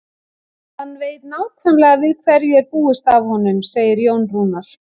Hann veit nákvæmlega við hverju er búist af honum, segir Jón Rúnar.